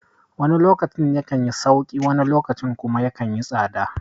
Wani lokacin ya kanyi sauƙi wani lokacin kuma yakan yi tsada